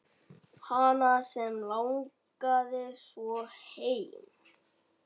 Hana sem langaði svo heim.